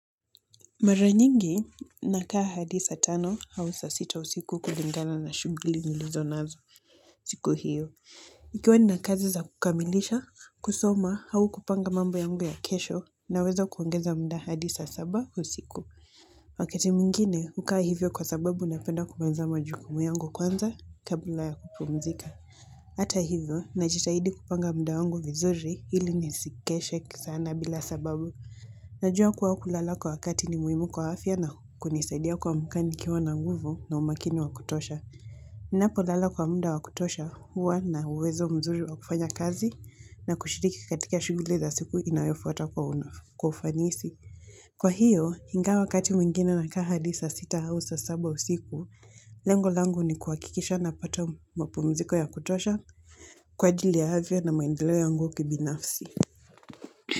Mara nyingi nakaa hadi saa tano au saa sita usiku kulingana na shughuli nilizo nazo siku hiyo. Ikiwa nina kazi za kukamilisha, kusoma au kupanga mambo yangu ya kesho naweza kuongeza muda hadi saa saba usiku. Wakati mwingine, hukaa hivyo kwa sababu napenda kumaliza majukumu yangu kwanza kabla ya kupumzika. Hata hivyo, najitahidi kupanga muda wangu vizuri ili nisikeshe sana bila sababu. Najua kuwa kulala kwa wakati ni muhimu kwa afya na kunisaidia kuamka nikiwa na nguvu na umakini wa kutosha. Ninapolala kwa muda wa kutosha huwa nina uwezo mzuri wa kufanya kazi na kushiriki katika shughuli za siku inayofuata kwa ufanisi. Kwa hiyo, ingawa wakati mwingine nakaa hadi saa sita au saa saba usiku, lengo langu ni kuhakikisha napata mapumziko ya kutosha kwa ajili ya afya na maendeleo yangu kibinafsi.